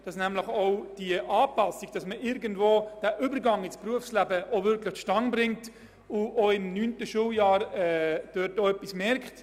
Das Gelingen des Übergangs in die Sekundarstufe II ist für uns ein wichtiges Element.